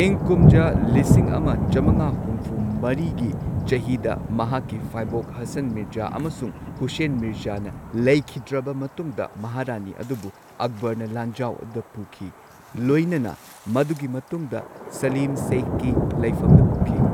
ꯏꯪ ꯀꯨꯝꯖꯥ ꯂꯤꯁꯤꯡ ꯑꯃ ꯆꯝꯉꯥ ꯍꯨꯝꯐꯨ ꯃꯔꯤꯒꯤ ꯆꯍꯤꯗ ꯃꯍꯥꯛꯀꯤ ꯐꯥꯏꯕꯣꯛ ꯍꯁꯟ ꯃꯤꯔꯖꯥ ꯑꯃꯁꯨꯡ ꯍꯨꯁꯦꯟ ꯃꯤꯔꯖꯥꯅ ꯂꯩꯈꯤꯗ꯭ꯔꯕ ꯃꯇꯨꯡꯗ ꯃꯍꯥꯔꯥꯅꯤ ꯑꯗꯨꯕꯨ ꯑꯛꯕꯔꯅ ꯂꯥꯟꯖꯥꯎ ꯑꯗꯨꯗ ꯄꯨꯈꯤ ꯂꯣꯏꯅꯅ ꯃꯗꯨꯒꯤ ꯃꯇꯨꯡꯗ ꯁꯂꯤꯝ ꯁꯦꯈꯀꯤ ꯂꯩꯐꯝꯗ ꯄꯨꯈꯤ꯫